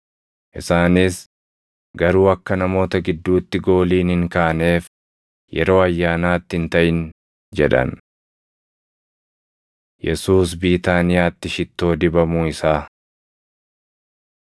Isaanis, “Garuu akka namoota gidduutti gooliin hin kaaneef yeroo ayyaanaatti hin taʼin” jedhan. Yesuus Biitaaniyaatti Shittoo Dibamuu Isaa 26:6‑13 kwf – Mar 14:3‑9 26:6‑13 kwi – Luq 7:37,38; Yoh 12:1‑8